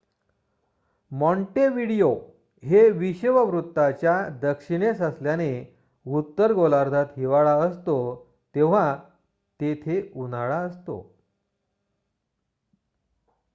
Montevideo हे विषुववृत्ताच्या दक्षिणेस असल्याने उत्तर गोलार्धात हिवाळा असतो तेव्हा तेथे उन्हाळा असतो